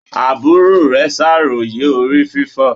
Àbúrò rẹ ṣàròyé orí fífọ́.